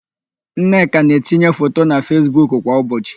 Nneka na-etinye foto na Fesbuk kwa ụbọchị.